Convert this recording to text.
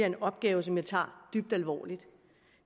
en opgave som jeg tager dybt alvorligt